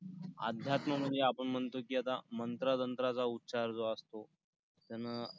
अध्यात्म म्हणजे आपण म्हणतो की आता मंत्र-तंत्राचा उच्चार जो असतो त्यानं